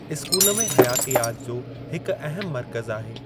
School में हयातियात जो हिकु अहम मर्कज़ु आहे।